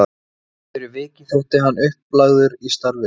Fyrir vikið þótti hann upplagður í starfið.